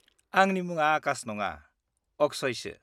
-आंनि मुङा आकाश नङा, अक्षयसो।